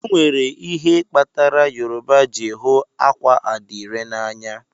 Onwere ihe kpatara Yoruba ji hụ akwa adire na anya.